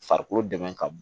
Farikolo dɛmɛ ka bon